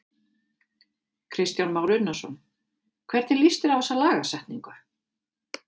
Kristján Már Unnarsson: Hvernig líst þér á þessa lagasetningu?